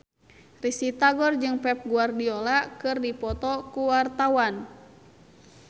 Risty Tagor jeung Pep Guardiola keur dipoto ku wartawan